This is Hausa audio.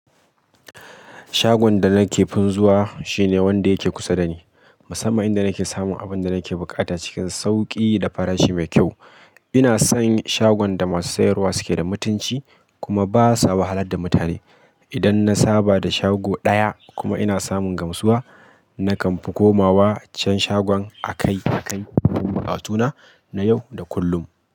Shagon da nake fin zuwa shine wanda yake kusa dani, musamman inda nake samun abin da nake buƙata cikin sauƙi da farashi mai kyau. Ina son shagon da masu sayarwa suke da mutunci kuma basa wahalar da mutane. Idan na saba da shago ɗaya kuma ina samun gamsuwa, nakan fi komawa can shagon akai-akai dumin bukatuna na yau da kullum.